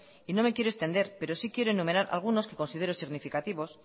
y no me quiero extender pero sí quiero enumerar algunos que considero significativos